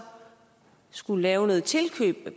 skulle lave noget tilkøb hvad